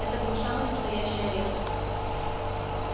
это был самый настоящий арест